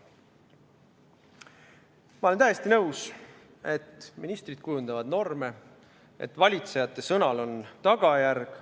Ma olen täiesti nõus, et ministrid kujundavad norme, et valitsejate sõnal on tagajärg.